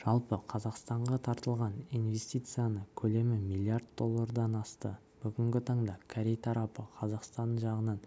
жалпы қазақстанға тартылған инвестиция көлемі миллиард доллардан асты бүгінгі таңда корей тарапы қазақстан жағынан